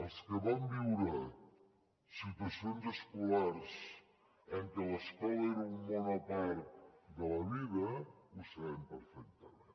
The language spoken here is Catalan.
els que vam viure situacions escolars en què l’escola era un món a part de la vida ho sabem perfectament